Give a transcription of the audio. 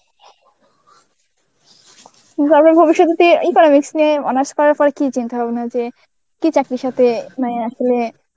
তারপর ভবিষ্যতে তুই এই Economics নিয়ে অনার্স করার পর কি চিন্তা ভাবনা যে কি চাকরির সাথে মানে